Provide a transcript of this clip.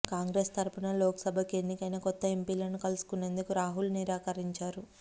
కాంగ్రెస్ తరఫున లోక్సభకు ఎన్నికైన కొత్త ఎంపీలను కలుసుకునేందుకు రాహుల్ నిరాకరించారు